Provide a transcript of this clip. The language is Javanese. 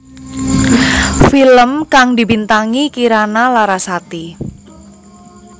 Film kang dibintangi Kirana Larasati